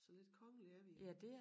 Så lidt kongelige er vi jo